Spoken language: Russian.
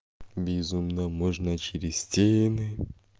безумно можно через стены